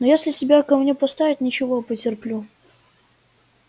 но если тебя ко мне поставят ничего потерплю